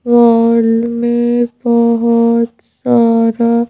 वोल मैं बहुत सारा--